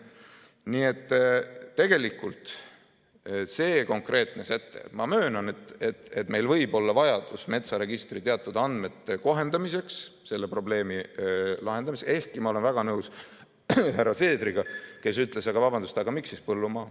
Nii et tegelikult ma möönan, et meil võib olla vajadus metsaregistri teatud andmete kohendamiseks, selle probleemi lahendamiseks, ehkki ma olen väga nõus härra Seedriga, kes ütles, et vabandust, aga miks siis mitte põllumaa.